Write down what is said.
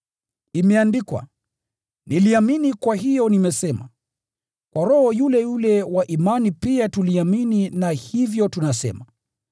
Imeandikwa, “Niliamini, kwa hiyo nimesema.” Kwa roho yule yule wa imani pia tuliamini na hivyo tunasema,